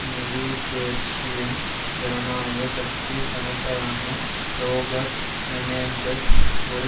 new ஜேர்சியின் ஜனநாயக கட்சி செனட்டரான ரோபர்ட் மெனென்டெஸ் ஒரு